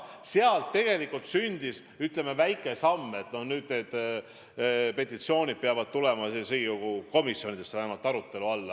Sellest tegelikult sündis, ütleme, väike samm ja nüüd need petitsioonid peavad tulema Riigikogu komisjonides vähemalt arutlusele.